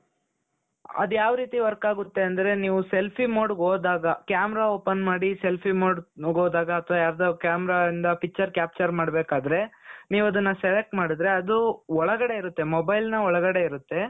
ಅದು ಯಾವ ರೀತಿ work ಆಗುತ್ತೆ ಅಂದ್ರೆ ನೀವು selfie modeಗೆ ಹೋದಾಗ camera open ಮಾಡಿ selfie modeಗೆ ಹೋದಾಗ ಅಥವಾ ಯಾವುದಾದರು cameraಯಿಂದ picture capture ಮಾಡಬೇಕಾದರೆ ನೀವು ಅದನ್ನ select ಮಾಡುದ್ರೆ ಅದು ಒಳಗಡೆ ಇರುತ್ತೆ mobileನ ಒಳಗಡೆ ಇರುತ್ತೆ.